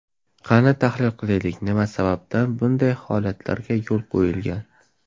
Qani tahlil qilaylik, nima sababdan bunday holatlarga yo‘l qo‘yilgan?